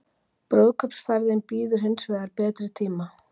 Brúðkaupsferðin bíður hins vegar betri tíma